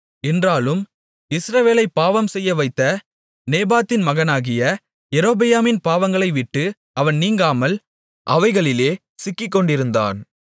என்றாலும் இஸ்ரவேலைப் பாவம் செய்யவைத்த நேபாத்தின் மகனாகிய யெரொபெயாமின் பாவங்களைவிட்டு அவன் நீங்காமல் அவைகளிலே சிக்கிக்கொண்டிருந்தான்